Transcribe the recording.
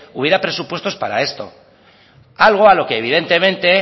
hubiera presupuestos para esto algo a lo que evidentemente